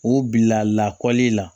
U bila lakɔli la